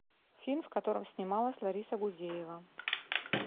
фильм в котором снималась лариса гузеева